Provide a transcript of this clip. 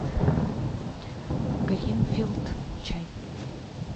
гринфилд чай